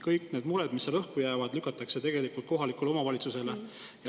Kõik need mured, mis seal õhku jäävad, lükatakse tegelikult kohaliku omavalitsuse kaela.